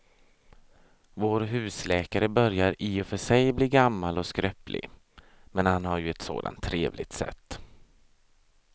Vår husläkare börjar i och för sig bli gammal och skröplig, men han har ju ett sådant trevligt sätt!